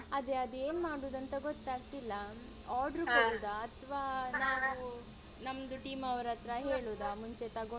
ಅದೇ ಅದ್ ಏನ್ ಮಾಡುದಂತ ಗೊತ್ತಾಗ್ತಿಲ್ಲ ಅಥವಾ ನಾವು ನಮ್ದು team ಅವರತ್ರ ಹೇಳುದ ಮುಂಚೆ ತಗೊಂಡ್ ಹೋಗಿ ಅಂತ ಹೇಳಿ.